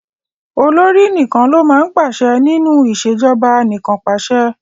Olórí nìkan ló máa ń pàse ní nínú ìṣèjọba anìkànpàṣẹ.